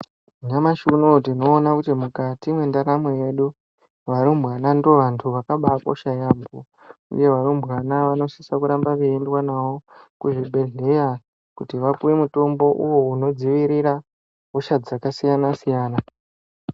Nyamashi unouyu tinoona kuti mukati mwendaramo yedu varumbwana ndiwo vantu vakabaakosha yaamho uye varumbwana vanosise kuramba veiendwa nawo kuzvibhedhlera kuti vapuwe mutombo uwo unodziirira hosha dzakasiyana siyana